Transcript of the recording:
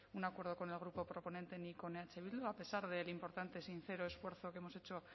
un acuerdo con el grupo proponente ni con eh bildu a pesar del importante y sincero esfuerzo que hemos hecho